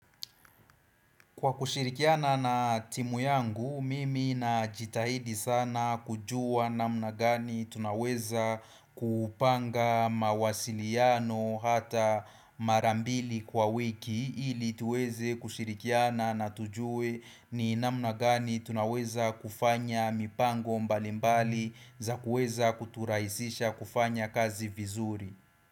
Kwa kushirikiana na timu yangu, mimi na jitahidi sana kujua namna gani tunaweza kupanga mawasiliano hata marambili kwa wiki ili tuweze kushirikiana na tujue ni namna gani tunaweza kufanya mipango mbalimbali za kueza kuturaisisha kufanya kazi vizuri.